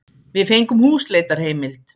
Við fengum húsleitarheimild.